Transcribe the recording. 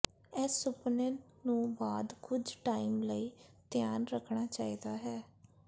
ਇਸ ਸੁਪਨੇ ਨੂੰ ਬਾਅਦ ਕੁਝ ਟਾਈਮ ਲਈ ਧਿਆਨ ਰੱਖਣਾ ਚਾਹੀਦਾ ਹੈ